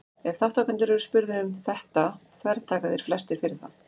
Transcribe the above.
ef þátttakendur eru spurðir um þetta þvertaka þeir flestir fyrir það